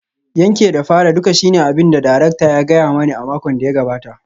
Yanke da fara duka shine abin da darakta ya gaya mani a makon da ya gabata